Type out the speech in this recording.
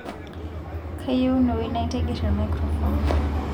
kayieunoyu naitigir emaikirofon